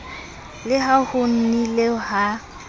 le ha ho nnile ha